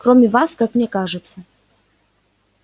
кроме вас как мне кажется